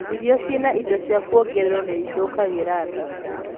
irio ciĩna indo cia kuongerwo niithukagira ndaa